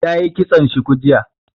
Ta yi kitson shuku jiya